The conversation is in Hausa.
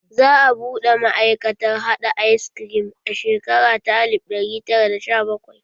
Za a buɗe ma'aikatar haɗa ayis krim a shekara ta alif ɗari tara da sha bakwai